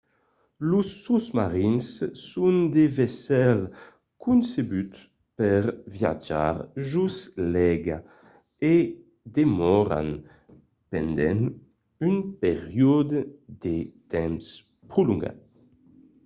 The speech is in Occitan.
los sosmarins son de vaissèls concebuts per viatjar jos l'aiga e i demòran pendent un periòde de temps prolongat